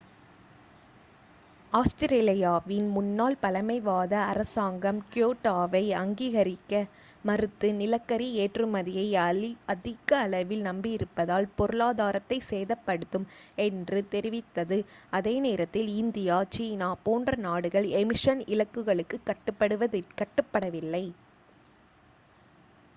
ஆஸ்திரேலியாவின் முன்னாள் பழமைவாத அரசாங்கம் கியோட்டோவை அங்கீகரிக்க மறுத்து நிலக்கரி ஏற்றுமதியை அதிக அளவில் நம்பியிருப்பதால் பொருளாதாரத்தைச் சேதப்படுத்தும் என்று தெரிவித்தது அதே நேரத்தில் இந்தியா சீனா போன்ற நாடுகள் எமிஷன் இலக்குகளுக்குக் கட்டுப்படவில்லை